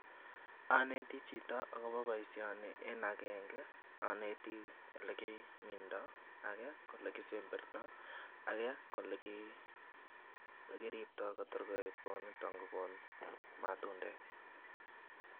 Oneti chito akobo boisioni en agenge oneti olekimindo, age ko ole kisemberto, age ole kiripto kotor koet kot niton kokon matundek.